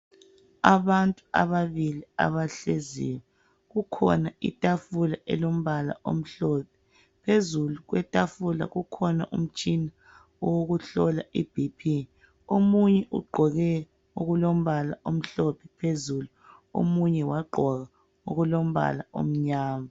Abantu ababili abahleziyo. Kukhona itafula elombala omhlophe. Phezulu kwetafula kukhona umtshina wokuhlola I bp. Omunye ugqoke okulombala omhlophe phezulu. Omunye wagqoka okulombala omnyama.